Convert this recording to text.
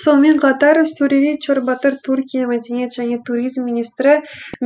сонымен қатар сурури чорбатыр түркия мәдениет және туризм министрі